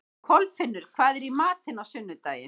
Kolfinnur, hvað er í matinn á sunnudaginn?